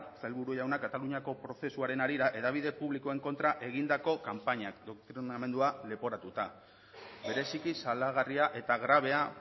sailburu jauna kataluniako prozesuaren harira hedabide publikoen kontra egindako kanpainak doktrinamentua leporatuta bereziki salagarria eta grabea